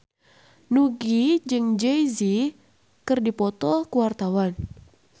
Nugie jeung Jay Z keur dipoto ku wartawan